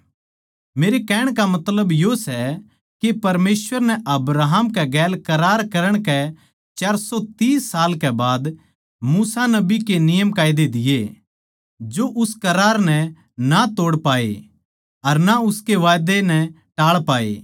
मेरे कहण का मतलब यो सै के परमेसवर नै अब्राहम के गैल करार करण कै चार सौ तीस साल के बाद मूसा नबी के नियमकायदे दिए जो उस करार नै ना तो तोड़ पाए अर ना उसके वादै नै टाळ पाए